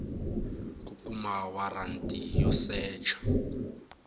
ku kuma waranti yo secha